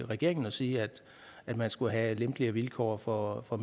regeringen og sige at man skulle have lempeligere vilkår for for